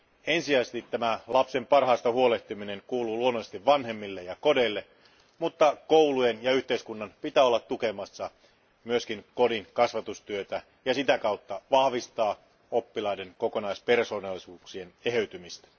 Ensisijaisesti tämä lapsen parhaasta huolehtiminen kuuluu luonnollisesti vanhemmille ja kodeille, mutta koulujen ja yhteiskunnan pitää olla tukemassa myös kodin kasvatustyötä ja sitä kautta vahvistaa oppilaiden kokonaispersoonallisuuksien eheytymistä.